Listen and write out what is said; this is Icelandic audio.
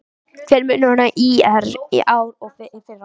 Hver er munurinn á ÍR í ár og í fyrra?